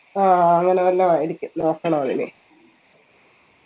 ആ അങ്ങനെ വല്ലോം ആയിരിക്കും നോക്കണമെനി